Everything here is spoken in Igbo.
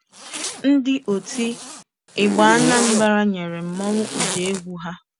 Ndị oti ịgba Anambra nyere mmọnwụ ụda egwu ha.